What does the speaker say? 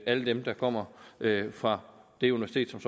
alle dem der kommer fra det universitet som